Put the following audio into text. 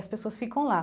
E as pessoas ficam lá.